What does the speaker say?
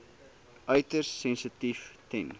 uiters sensitief ten